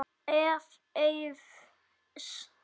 Ef. Eiðs